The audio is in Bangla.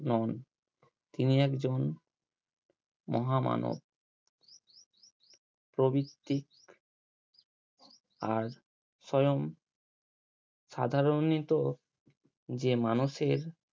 নন তিনি একজন মহামানব প্রভৃতি আর স্বয়ং সাধারণত যে মানুষের